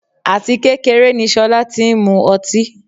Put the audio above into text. áti kékeré ni Sola ti ń mú ọtí.